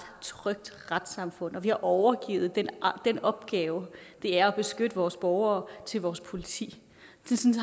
trygt retssamfund og at vi har overgivet den opgave det er at beskytte vores borgere til vores politi